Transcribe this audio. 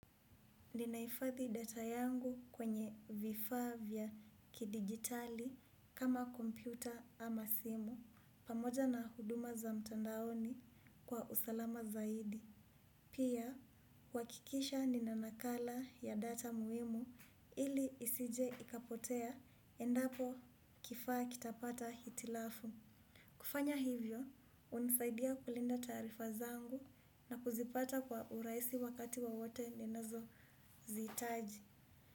Ninaifathi data yangu kwenye vifavya kidigitali kama kompyuta ama simu, pamoja na huduma za mtandaoni kwa usalama zaidi. Pia, wakikisha ninanakala ya data muhimu ili isije ikapotea, endapo kifaa kitapata hitilafu. Kufanya hivyo, unisaidia kulinda tarifa zangu na kuzipata kwa uraisi wakati wo wote nenezoziitaji.